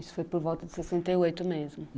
Isso foi por volta de sessenta e oito mesmo?